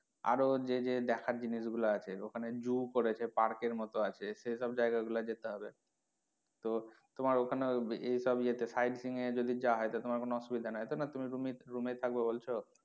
আরও যে যে দেখার জিনিস গুলো আছে ওখানে zoo করেছে park এর মতো আছে সেসব জায়গা গুলো যেতে হবে তো তোমার ওখানে ইয়ে সব ইয়ে তে side seeing এর যদি যাওয়া হয় তাহলে তোমার কোনো অসুবিধা নেই তো না তুমি, তুমি room এই থাকবে বলছো?